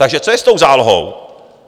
Takže co je s tou zálohou?